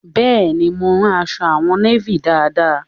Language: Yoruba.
Bẹ́ẹ̀ ni, mo rán aṣọ àwọn néfì dáadáa